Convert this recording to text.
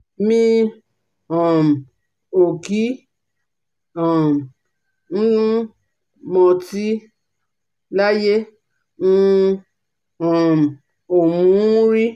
Mi um ò kí um ń mọtí, láyé, n um ò mu ún rí